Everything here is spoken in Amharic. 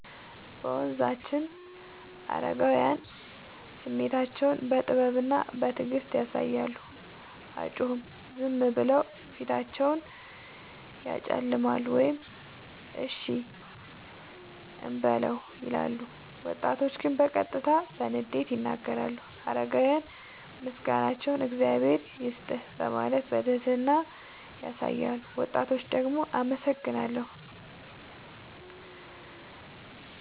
በመንዛችን አረጋውያን ስሜታቸውን በጥበብና በትዕግስት ያሳያሉ፤ አይጮሁም፤ ዝም ብለው ፊታቸውን ያጨለማሉ ወይም “እሺ እንበለው” ይላሉ። ወጣቶች ግን በቀጥታ በንዴት ይናገራሉ። አረጋውያን ምስጋናቸውን “እግዚአብሔር ይስጥህ” በማለት በትህትና ያሳያሉ፤ ወጣቶች ደግሞ “አመሰግናለሁ”